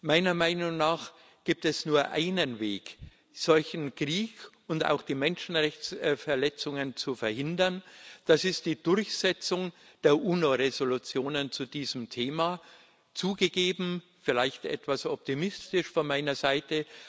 Meiner Meinung nach gibt es nur einen Weg, einen solchen Krieg und auch die Menschenrechtsverletzungen zu verhindern Das ist die Durchsetzung der UNO-Resolutionen zu diesem Thema zugegeben, vielleicht etwas optimistisch von meiner Seite.